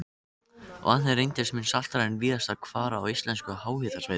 Vatnið reyndist mun saltara en víðast hvar á íslenskum háhitasvæðum.